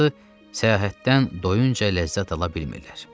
Qısası, səyahətdən doyunca ləzzət ala bilmirlər.